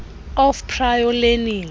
of prior learning